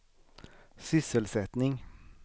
sysselsättning